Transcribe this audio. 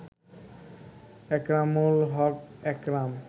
Ekramul Haque Ekram